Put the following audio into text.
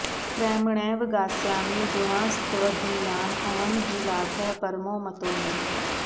प्रेम्णैव गास्यामि गुणांस्त्वदीयान् अयं हि लाभः परमो मतो मे